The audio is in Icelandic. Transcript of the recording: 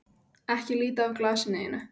Ekki líta af glasinu þínu.